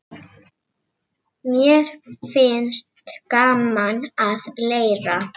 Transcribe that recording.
Mér finnst gaman að leira.